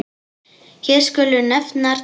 Hér skulu nefndar tvær.